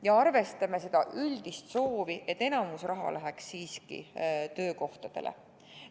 Ja arvestame seda üldist soovi, et enamik raha läheks siiski töökohtade loomiseks!